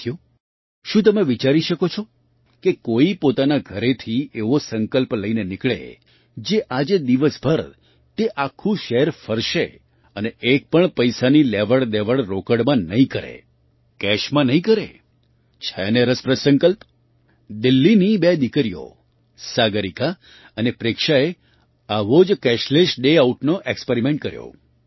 સાથીઓ શું તમે વિચારી શકો છો કે કોઈ પોતાના ઘરેથી એવો સંકલ્પ લઈને નીકળે કે આજે દિવસભર તે આખું શહેર ફરશે અને એક પણ પૈસાની લેવડદેવડ રોકડમાં નહીં કરે કેશમાં નહીં કરે છે ને રસપ્રદ સંકલ્પ દિલ્લીની બે દીકરીઓ સાગરિકા અને પ્રેક્ષાએ આવા જ કેશલેસ ડે આઉટનો એક્સ્પેરિમેન્ટ કર્યો